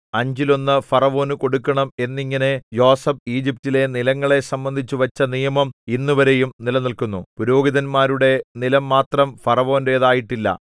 അഞ്ചിലൊന്നു ഫറവോനു കൊടുക്കണം എന്നിങ്ങനെ യോസേഫ് ഈജിപ്റ്റിലെ നിലങ്ങളെ സംബന്ധിച്ചു വച്ച നിയമം ഇന്നുവരെയും നിലനിൽക്കുന്നു പുരോഹിതന്മാരുടെ നിലം മാത്രം ഫറവോന്റേതായിട്ടില്ല